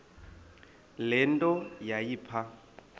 le nto yayipha